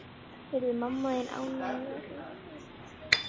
Yrði mamma þín ánægðari ef hún eignaðist stelpu?